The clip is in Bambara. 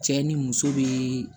Cɛ ni muso bee